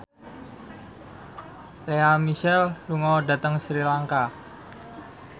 Lea Michele lunga dhateng Sri Lanka